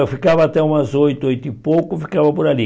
Eu ficava até umas oito, oito e pouco, ficava por ali.